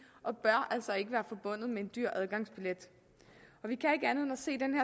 og bør altså ikke være forbundet med en dyr adgangsbillet